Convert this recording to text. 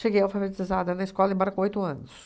alfabetizada na escola, embarcou oito anos.